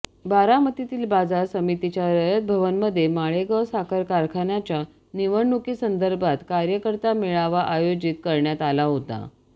बारामतीतील बाजार समीतीच्या रयत भवनमध्ये माळेगाव साखर कारखान्याच्या निवडणुकीसंदर्भात कार्यकर्ता मेळावा आयोजित करण्यात आला होता